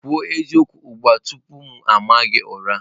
Kwuo eziokwu ugbu a tupu m aa gị ụra!